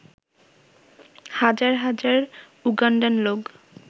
হাজার হাজার উগান্ডান লোক